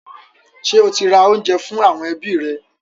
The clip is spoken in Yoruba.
Ṣé ó ti ra oúnjẹ fún àwọn ẹbí rẹ̀?